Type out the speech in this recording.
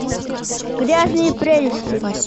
грязные прелести